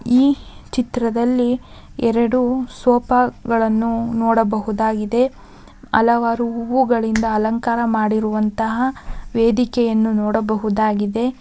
ಈ ಚಿತ್ರದಲ್ಲಿ ಎರಡು ಸೋಫಾ ಗಳನ್ನು ನೋಡಬಹುದಾಗಿದೆ ಹಲವಾರು ಹೂಗಳಿಂದ ಅಲಂಕಾರ ಮಾಡಿರುವಂತಹ ವೇದಿಕೆಯನ್ನು ನೋಡಬಹುದಾಗಿದೆ.